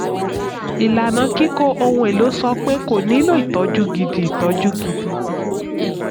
ìlànà kíkó ohun èlò sọ pé kò nílò ìtọ́jú gidi. ìtọ́jú gidi.